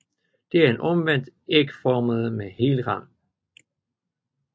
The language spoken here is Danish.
De er omvendt ægformede med hel rand